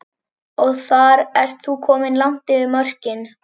Og þar ert þú kominn langt yfir mörkin.